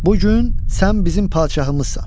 Bu gün sən bizim padşahımızsan.